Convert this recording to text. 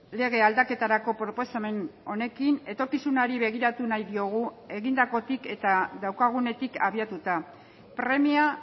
lege aldaketarako proposamen honekin etorkizunari begiratu nahi diogu egindakotik eta daukagunetik abiatuta premia